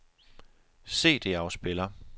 CD-afspiller